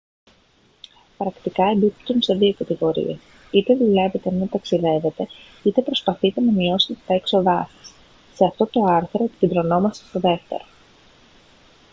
πρακτικά εμπίπτουν σε δύο κατηγορίες είτε δουλεύετε ενώ ταξιδεύετε είτε προσπαθείτε να μειώσετε τα έξοδά σας σε αυτό το άρθρο επικεντρωνόμαστε στο δεύτερο